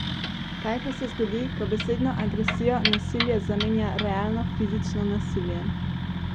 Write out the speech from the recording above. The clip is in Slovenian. Kaj pa se zgodi, ko besedno agresijo nasilje zamenja realno fizično nasilje?